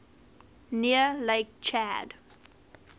near lake chad